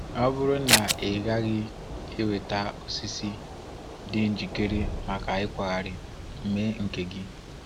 Ọ bụrụ na ị gaghị enweta osisi dị njikere maka ịkwaghari, mee nke gị!